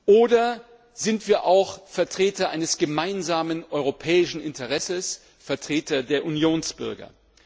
Oder sind wir auch Vertreter eines gemeinsamen europäischen Interesses, Vertreter der Unionsbürger?